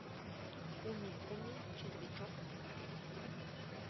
куми куми червячок смотреть